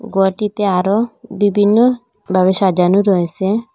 গরটিতে আরও বিবিন্নবাবে সাজানো রয়েসে।